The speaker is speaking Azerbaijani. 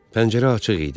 Pəncərə açıq idi.